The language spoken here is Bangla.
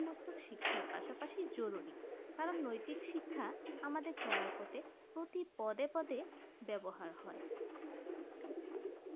উপস্থিক শিক্ষা পাশাপাশি জরুরি কারণ নৈতিক শিক্ষা আমাদের চলা পথে প্রতি পদে পদে ব্যবহার হয়